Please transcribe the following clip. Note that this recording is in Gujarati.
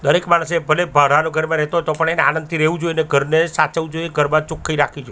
દરેક માણસે ભલે ભાડાના ઘરમાં રેહતો તો પણ એને આનંદથી રેહવુ જોઈએ ને ઘરને સાચવવુ જોઈએ ઘરમા છોખ્ખાઈ રાખવી જોઈએ.